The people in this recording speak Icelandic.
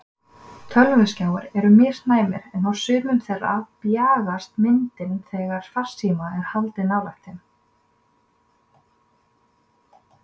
Tölvuskjáir eru misnæmir en á sumum þeirra bjagast myndin þegar farsíma er haldið nálægt þeim.